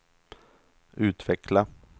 utveckla